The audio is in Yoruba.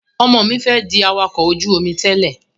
Ọmọ mi fẹ́ di awakọ̀ ojú-omi tẹ́lè